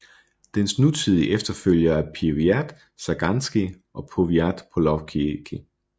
Dens nutidige efterfølgere er Powiat Żagański og Powiat Polkowicki